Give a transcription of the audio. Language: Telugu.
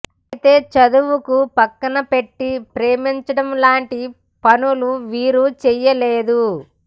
అయితే చదువుకు పక్కన పెట్టి ప్రేమించడం లాంటి పనులు వీరు చేయలేదు